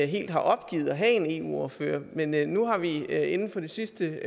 helt har opgivet at have en eu ordfører men men nu har vi inden inden for det sidste